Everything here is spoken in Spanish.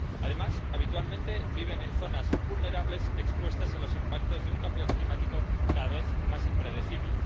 Además, habitualmente viven en zonas vulnerables, expuestas a los impactos de un cambio climático cada vez más impredecible.